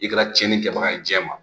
I kɛra cɛni kɛbaga ye jɛman